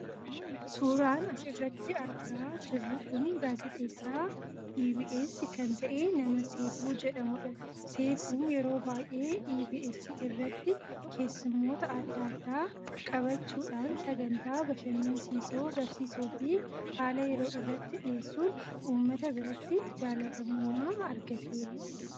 suuraan as irratti argaa jirru kun gaazexeessaa EBS kan ta'e nama Seefuu jedhamuu dha. Seefuun yeroo baay, ee EBS irratti keessummoota adda addaa qabachuudhaan sagantaa bashannansiisoo, barsiisoo fi haala yeroo irrattti dhiyeesuun ummata biratti jaallatamummaa argateera.